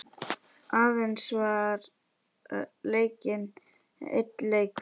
Aðeins var leikinn einn leikur.